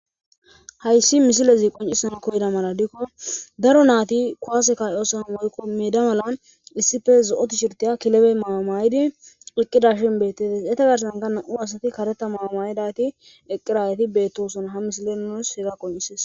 Hayssi misilezi qonccissana koyida mala gidikko daro naathi kuwaase kaa7iyoosan woykko meeda bollan issippe zo7o tiisherththiya kilebee maayuwa maayidi eqqidaashe beeththes; etha garssankka naa7u asathi kareththa maa7uwa maayidaageethi eqqiraageethi beeththoosona; ha misilee nus hegaa qonccisses.